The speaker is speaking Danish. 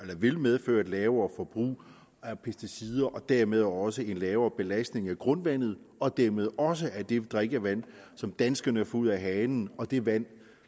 der vil medføre et lavere forbrug af pesticider og dermed også en lavere belastning af grundvandet og dermed også at det drikkevand som danskerne får ud af hanen og det vand